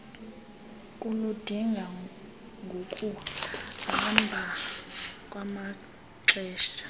kuludinga ngokuhamba kwamaxesha